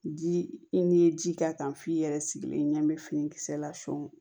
Ji i n'i ye ji k'a kan f'i yɛrɛ sigilen ɲɛ n bɛ finikisɛ la sɔn